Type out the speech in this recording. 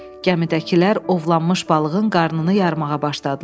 Gəmidəkilər ovlanmış balığın qarnını yarmağa başladılar.